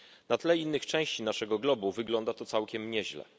Na tle innych części naszego globu wygląda to całkiem nieźle.